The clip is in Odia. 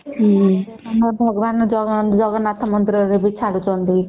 ଭଗବାନ ଜଗନ୍ନାଥ ମନ୍ଦିର ରେ ବି ବହୁତ ଛାଡ଼ୁଛନ୍ତି